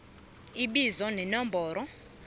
a ibizo nenomboro